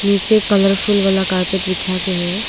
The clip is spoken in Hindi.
पीछे कलरफुल वाला कारपेट बिछा के है।